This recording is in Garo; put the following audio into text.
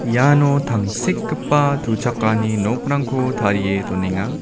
iano tangsekgipa tuchakani nokrangko tarie donenga.